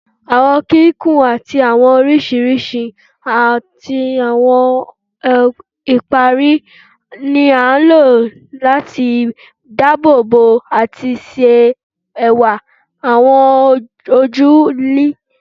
Awọn kikun ti awọn awọ oriṣiriṣi ati awọn ipari ni a lo lati daabobo ati ṣe ẹwa awọn oju ilẹ